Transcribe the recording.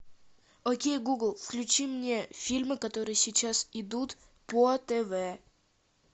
окей гугл включи мне фильмы которые сейчас идут по тв